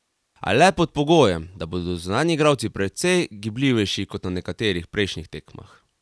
A le pod pogojem, da bodo zunanji igralci precej gibljivejši kot na nekaterih prejšnjih tekmah.